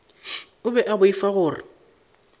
o be a boifa gore